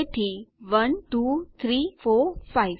તેથી 1 2 3 4 5